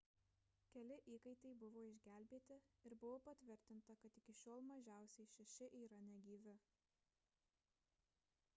keli įkaitai buvo išgelbėti ir buvo patvirtinta kad iki šiol mažiausiai šeši yra negyvi